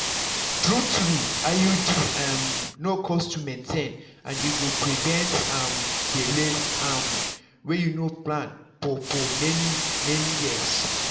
true-true iud um no cost to maintain and e go prevent um belle um wey you no plan for for many-many years.